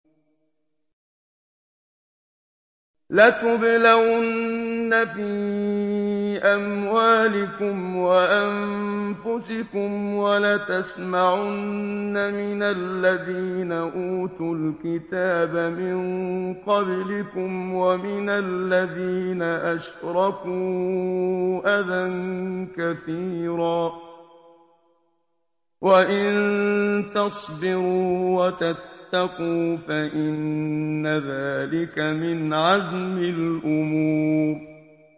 ۞ لَتُبْلَوُنَّ فِي أَمْوَالِكُمْ وَأَنفُسِكُمْ وَلَتَسْمَعُنَّ مِنَ الَّذِينَ أُوتُوا الْكِتَابَ مِن قَبْلِكُمْ وَمِنَ الَّذِينَ أَشْرَكُوا أَذًى كَثِيرًا ۚ وَإِن تَصْبِرُوا وَتَتَّقُوا فَإِنَّ ذَٰلِكَ مِنْ عَزْمِ الْأُمُورِ